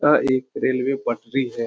यह एक रेलवे पटरी है।